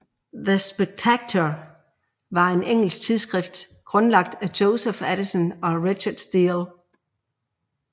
The Spectator var et engelsk tidsskrift grundlagt af Joseph Addison og Richard Steele